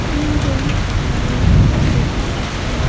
তিনজন মানুষ দেখতে পাচ্ছি।